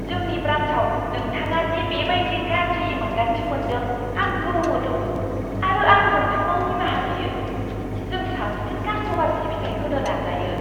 जोंनि ब्रान्चआव नोंथाङा दि बे बायदि गाज्रि मोन्दांथि मोनदों आं गोमोदों आरो आं नोंथांनाव निमाहा बियो। जों साबसिन कास्ट'मार सिबिथाइ होनो नाजायो।